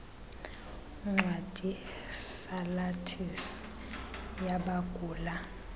ncwadi salathisi yabagula